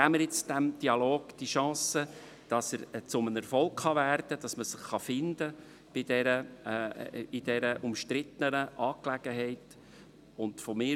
Geben wir diesem Dialog die Chance, dass er zu einem Erfolg werden kann, damit man sich in dieser umstrittenen Angelegenheit finden kann.